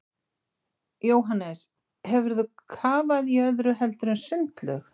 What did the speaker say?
Jóhannes: Hefur þú kafað í öðru heldur en sundlaug?